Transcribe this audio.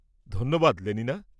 -ধন্যবাদ লেলিনা।